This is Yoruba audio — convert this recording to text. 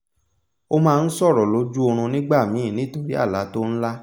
o máa n sọ̀rọ̀ lójú oorún nígbà míì nítorí àlá tó n lá